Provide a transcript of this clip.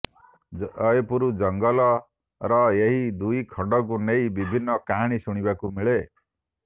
ଜୟପୁର ଜଙ୍ଗଲର ଏହି ଦୁଇ ଖଣ୍ଡାକୁ ନେଇ ବିଭିନ୍ନ କାହାଣୀ ଶୁଣିବାକୁ ମିଳେ